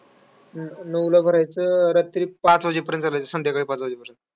नऊला भरायचं, रात्री पाच वाजेपर्यंत चालायचं. संध्याकाळी पाच वाजेपर्यंत.